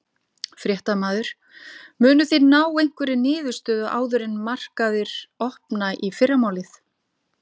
Fréttamaður: Munuð þið ná einhverri niðurstöðu áður en að markaðir opna í fyrramálið?